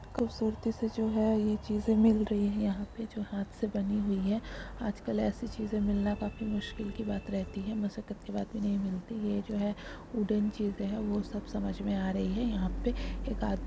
खूबसूरती से जो है ये चीज़े मिल रही है यहा पे जो हाथ से बनी हुई है आजकल एसी चीज़े मिल ना काफी मुश्किल की बात रहती है मसक्त की बात नहीं मिलती ये जो वुडन चीज़े है वो सब समझ मे आ रही है यहा पे एक आदमी--